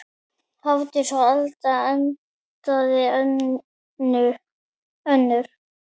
Hafdís Alda endaði önnur.